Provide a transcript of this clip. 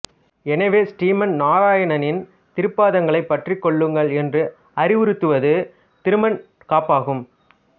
எனவே ஸ்ரீமன் நாராயணனின் திருப்பாதங்களைப் பற்றிக் கொள்ளுங்கள் என்று அறிவுறுத்துவது திருமண் காப்பாகும்